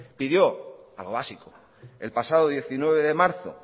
pidió algo básico el pasado diecinueve de marzo